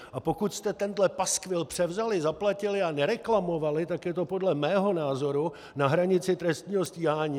A pokud jste tenhle paskvil převzali, zaplatili a nereklamovali, tak je to podle mého názoru na hranici trestního stíhání.